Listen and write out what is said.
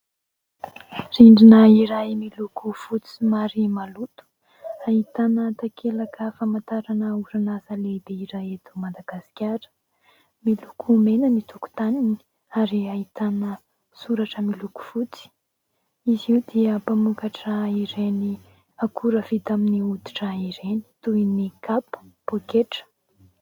Rindrina iray miloko fotsy somary maloto ahitana takelaka famantarana orinasa lehibe iray eto Madagasikara, miloko mena ny tokotaniny ary ahitana soratra miloko fotsy, izy io dia mpamokatra ireny akora vita amin'ny hoditra ireny toy ny kapa, poketra.